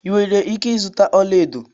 Ị nwere ike ịzụta ọlaedo